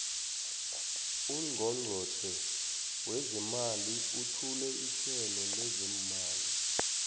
ungqongqotjhe wezeemali uthule ihlelo lezeemali